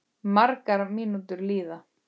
Margar mínútur líða.